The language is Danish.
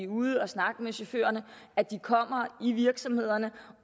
ude og snakke med chaufførerne at de kommer i virksomhederne